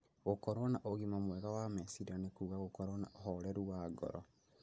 Gũkorũo na ũgima mwega wa meciria nĩ kuuga gũkorũo na ũhoreru wa ngoro